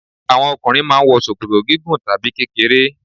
Àwọn okùnrin mà a n wo ṣòkòtò gígùn tàbí kékeré